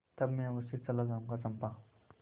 तब मैं अवश्य चला जाऊँगा चंपा